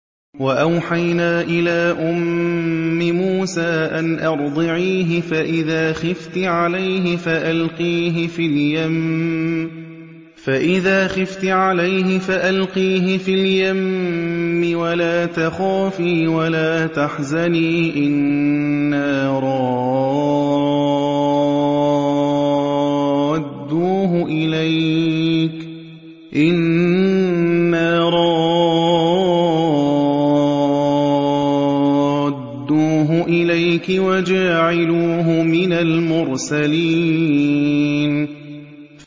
وَأَوْحَيْنَا إِلَىٰ أُمِّ مُوسَىٰ أَنْ أَرْضِعِيهِ ۖ فَإِذَا خِفْتِ عَلَيْهِ فَأَلْقِيهِ فِي الْيَمِّ وَلَا تَخَافِي وَلَا تَحْزَنِي ۖ إِنَّا رَادُّوهُ إِلَيْكِ وَجَاعِلُوهُ مِنَ الْمُرْسَلِينَ